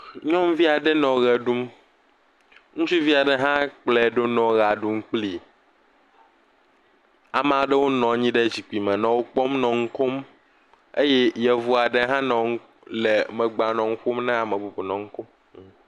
Nyɔnuvi aɖe nɔ ʋe ɖum, ŋutsuvi aɖe hã kplɔe ɖo nɔ ʋea ɖum kpli, ame aɖewo nɔ anyi ɖe zikpui me nɔ wo kpɔm nɔ nu kom eye yevu aɖe hã nɔ le megbea nɔ nu ƒom na ame bubu nɔ nu kom. Mmm.